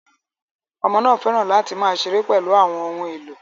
Ọmọ náà fẹ́ràn láti máa ṣeré pẹ̀lú àwọn ohun èlò